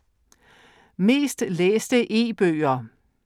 Mest læste E-bøger